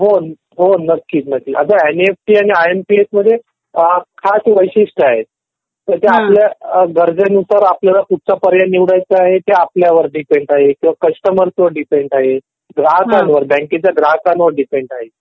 हो हो नक्की. अगं एनईएफटी आणि आय एम पी एस मध्ये पाच वैशिष्ट्य आहेत. म्हणजे आपल्या गरजेनुसार आपल्याला कुठचा पर्याय निवडायचा आहे ते आपल्यावर डिपेंड आहे. कस्टमर वर डिपेंड आहे.